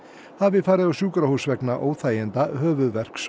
hafi farið á sjúkrahús vegna óþæginda